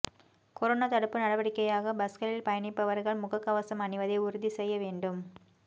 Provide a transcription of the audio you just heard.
corona தடுப்பு நடவடிக்கையாக பஸ்களில் பயணிப்பவர்கள் முக கவசம் அணிவதை உறுதி செய்ய வேண்டும்